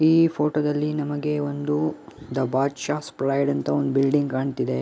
ಈ ಫೋಟೋ ದಲ್ಲಿ ನಮಗೆ ಒಂದು ದ ಬಾದ್ ಶಾಸ್ ಪ್ರೈಡ್ ಅಂತ ಒಂದು ಬಿಲ್ಡಿಂಗ್ ಕಾಣುತ್ತಿದೆ.